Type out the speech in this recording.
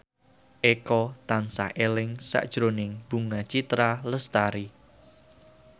Eko tansah eling sakjroning Bunga Citra Lestari